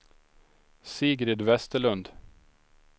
Sigrid Westerlund